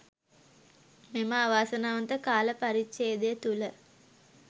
මෙම අවාසනාවන්ත කාල පරිච්ඡේදය තුළ